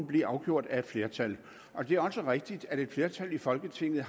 blive afgjort af et flertal det er også rigtigt at et flertal i folketinget